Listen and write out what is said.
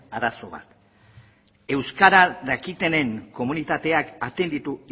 arazoa euskara dakitenen komunitateak atenditu